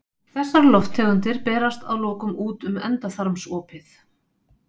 Þessar lofttegundir berast að lokum út um endaþarmsopið.